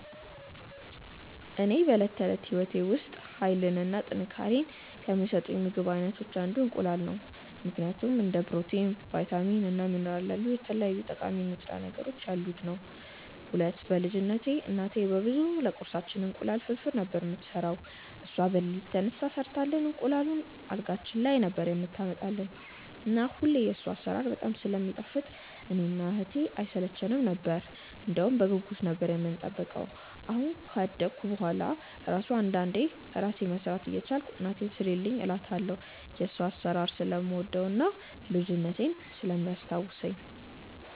ለኔ በዕለት ተዕለት ሕይወቴ ውስጥ ኃይልን እና ጥንካሬን ከሚሰጡኝ የምግብ አይነቶች አንዱ እንቁላል ነው ምክንያቱም፦ 1. እንደ ፕሮቲን፣ ቫይታሚን እና ሚኒራል ያሉ የተለያዩ ጠቃሚ ንጥረ ነገሮች ያሉት ነዉ። 2. በ ልጅነትቴ እናቴ በብዛት ለቁርሳችን እንቁላል ፍርፍር ነበር የምትሰራው እሷ በለሊት ተነስታ ሰርታልን እንቁላሉን አልጋችን ላይ ነበር የምታመጣልን እና ሁሌ የሷ አሰራር በጣም ስለሚጣፍጥ እኔ እና እህቴ አይሰለቸነም ነበር እንደውም በጉጉት ነበር የምንጠብቀው አሁን ካደኩ በሁዋላ እራሱ አንዳንዴ እራሴ መስራት እየቻልኩ እናቴን ስሪልኝ እላታለው የሷን አሰራር ስለምወደው እና ልጅነቴን ስለሚያስታውሰኝ።